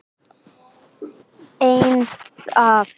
Eldar hafa geisað